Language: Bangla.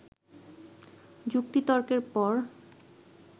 যুক্তিতর্কের পর